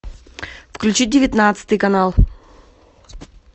включи девятнадцатый канал